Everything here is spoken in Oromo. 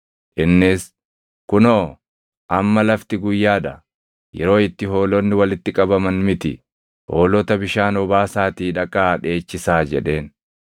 Innis, “Kunoo, amma lafti guyyaa dha; yeroo itti hoolonni walitti qabaman miti. Hoolota bishaan obaasaatii dhaqaa dheechisaa” jedheen.